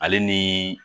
Ale ni